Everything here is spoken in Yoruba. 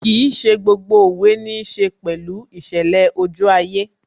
Kìí ṣe gbogbo òwe níí ṣe pẹ̀lú ìṣẹ̀lẹ̀ ojú ayé